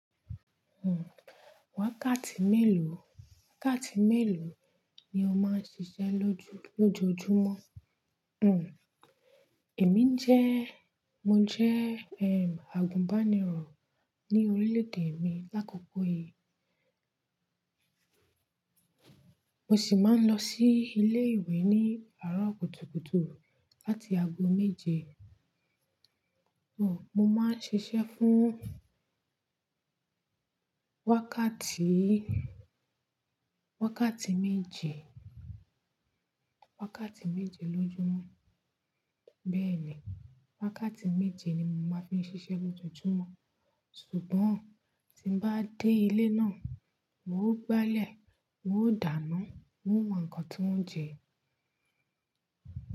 Hmm. Wákàtí mélòó, wákàtí mélòó ni o máa ń ṣiṣẹ́ lójú, lójoojúmọ́? Hmm. Èmi jẹ́, mo jẹ́, àgùnbánirọ̀ ní orílẹ̀-èdè mi lákòókò yìí. Mo sì máa ń lọ sí ilé ìwé ní àárọ̀ kùtùkùtù láti ago méje. Mo máa ń ṣiṣẹ́ fún wákàtí, wákàtí méje, wákàtí méje lójúmọ́. Bẹ́ẹ̀ni, wákàtí méje ni mo máa fi ń ṣiṣẹ́ lójoojúmọ́. Ṣùgbọ́n tí mo bá dé ilé náà, n ó gbálẹ̀, n ó dàná, n ó wá ǹkan tó ń jẹ.